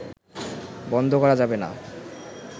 বন্ধ করা যাবে না